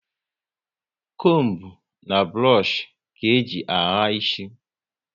Combu na burush ka eji ahà isi